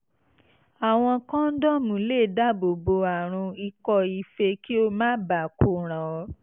àwọn kọ́ńdọ́ọ̀mù lè dáàbò bo àrùn ikọ́ife kí ó má baà ko ràn ọ́